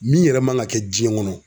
Min yɛrɛ man ga kɛ jiɲɛn kɔnɔ